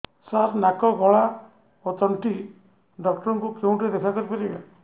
ସାର ନାକ ଗଳା ଓ ତଣ୍ଟି ଡକ୍ଟର ଙ୍କୁ କେଉଁଠି ଦେଖା କରିପାରିବା